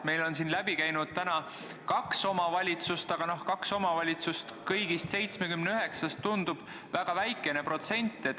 Meil on siin jutust täna läbi käinud kaks omavalitsust, aga kaks omavalitsust 79-st tundub väga väikese protsendina.